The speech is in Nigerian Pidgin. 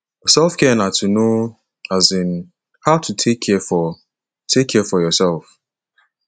selfcare na to know um how to take care for take care for yourself